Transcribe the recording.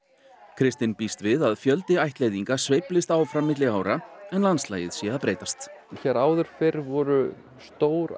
kristinn býst við að fjöldi ættleiðinga sveiflist áfram milli ára en landslagið sé að breytast hér áður fyrr voru stór